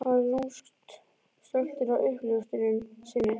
Hann var lúmskt stoltur af uppljóstrun sinni.